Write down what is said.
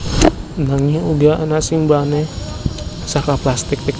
Nanging uga ana sing bahane saka plastik